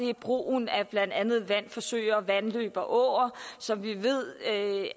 er brugen af blandt andet vand fra søer vandløb og åer som vi ved